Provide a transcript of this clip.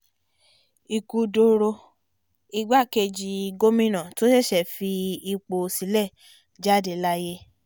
ikú dọ̀rọ̀ igbákejì gomina tó ṣẹ̀ṣẹ̀ fipò sílẹ̀ jáde láyé